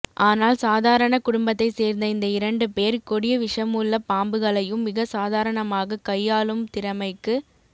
ஆனால் சாதாரண குடும்பத்தை சேர்ந்த இந்த இரண்டு பேர் கொடிய விஷமுள்ள பாம்புகளையும் மிக சாதாரணமாக கையாளும் திறமைக்கு